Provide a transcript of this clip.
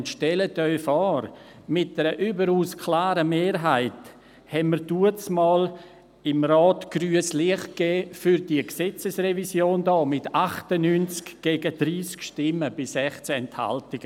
Und stellen Sie sich vor, der Rat gab damals mit einer überaus klaren Mehrheit grünes Licht für diese Gesetzesrevision, und zwar mit 98 gegen 30 Stimmen bei 16 Enthaltungen.